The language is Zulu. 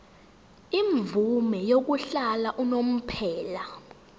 imvume yokuhlala unomphela